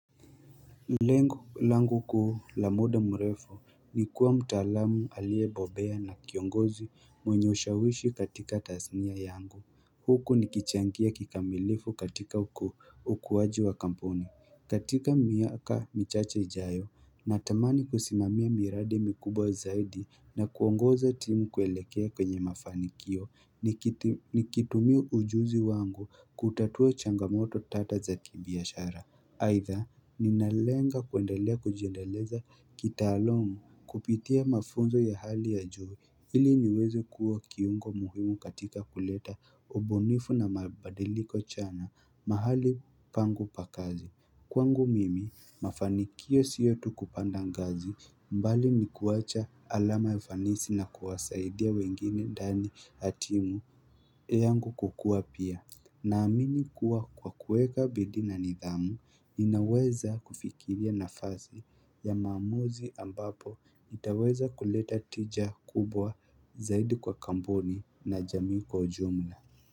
Langu kuuu la muda mrefu ni kuwa mtaalamu aliye bobea na kiongozi mwenye ushawishi katika tasnia yangu Huku nikichangia kikamilifu katika ukuwaji wa kampuni katika miaka michache ijayo natamani kusimamia miradi mikubwa zaidi na kuongoza timu kuelekea kwenye mafanikio Nikitumia ujuzi wangu kutatua changamoto tata za kibiashara aidha ninalenga kuendelea kujendeleza kitaaluma kupitia mafunzo ya hali ya juu ili niweze kuwa kiungo muhimu katika kuleta ubunifu na mabadiliko chana mahali pangu pa kazi Kwangu mimi mafanikio sio tu kupanda ngazi bali ni kuwacha alama ya fanisi na kuwasaidia wengine ndani hatimu yangu kukuwa pia na amini kuwa kwa kuweka bidii na nidhamu, ninaweza kufikiria nafasi ya maamuzi ambapo nitaweza kuleta tija kubwa zaidi kwa kampuni na jamii kwa jumla.